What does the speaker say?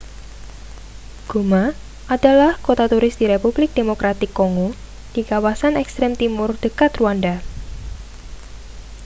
goma adalah kota turis di republik demokratik kongo di kawasan ekstrem timur dekat rwanda